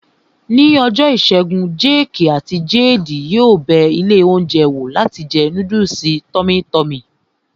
Ní ọjọ́ ìṣẹ́gun, jéèkì àti jeedi yóò bẹ ilé oúnjẹ wò láti jẹ núdùsì tọ́mí tọmì